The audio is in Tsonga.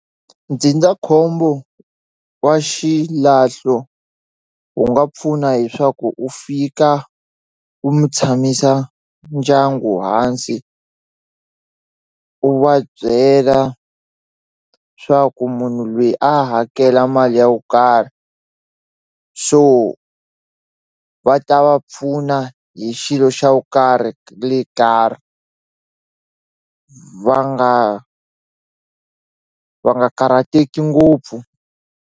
Ndzindzakhombo wa xilahlo wu nga pfuna hi swaku u fika wu mi tshamisa ndyangu hansi u va byela swa ku munhu lweyi a hakela mali ya ku karhi so va ta va pfuna hi xilo xa wu karhi va nga va nga karhateki ngopfu.